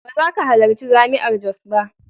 Ba za ka halarci Jami'ar Jos ba.